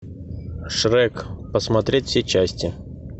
шрек посмотреть все части